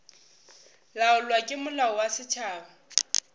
laolwa ke molao wa setšhaba